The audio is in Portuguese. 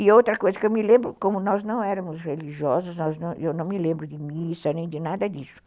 E outra coisa que eu me lembro, como nós não éramos religiosos, eu não me lembro de missa nem de nada disso.